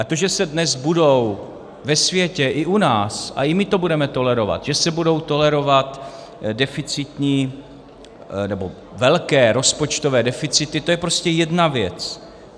A to, že se dnes budou ve světě i u nás, a i my to budeme tolerovat, že se budou tolerovat deficitní nebo velké rozpočtové deficity, to je prostě jedna věc.